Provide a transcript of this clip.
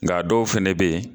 Nk'a dɔw fana bɛ yen